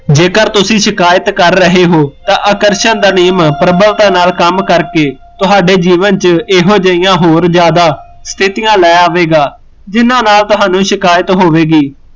ਜੇਕਰ ਤੁਸੀਂ ਸ਼ਿਕਾਅਤ ਕਰ ਰਹੇ ਹੋ, ਤਾਂ ਆਕਰਸ਼ਣ ਦਾ ਨਿਯਮ ਪ੍ਰਬੱਲਤਾ ਨਾਲ਼ ਕੰਮ ਕਰਕੇ, ਤੁਹਾਡੇ ਜੀਵਨ ਚ ਇਹੋ ਜਹੀਆ ਹੋਰ ਜਿਆਦਾ, ਸਥਿਤੀਆ ਲੈ ਆਵੇਗਾ ਜਿਹਨਾਂ ਨਾਲ਼ ਤੁਹਾਨੂ ਸ਼ਿਕਯਾਤ ਹੋਵੇਗੀ